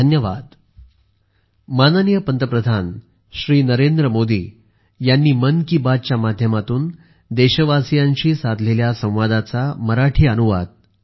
धन्यवाद